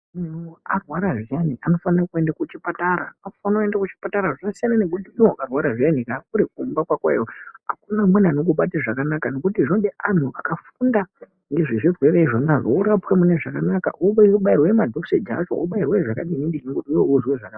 Munhu arwara zviyani anofanira kuenda kuchipatara, anofanira kuenda kuchipatara. Zvasiyana nekuti warwara zviyani uri kumba kwakoyo akuna amweni anokubata zvakanaka nekuti zvinoda anhu akafunda ngezvezvirwere zvona izvo worapwa mune zvakanaka, wobairwa madhoseji acho, wobairwa zvakadini dini ngekuti iwewe uzwe zvakanaka.